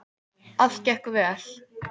Allt gekk vel.